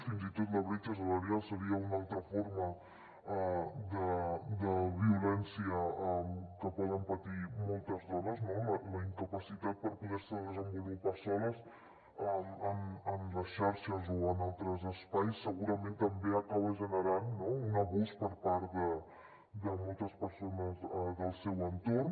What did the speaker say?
fins i tot la bretxa salarial seria una altra forma de violència que poden patir moltes dones no la incapacitat per poder se desenvolupar soles en les xarxes o en altres espais segurament també acaba generant un abús per part de moltes persones del seu entorn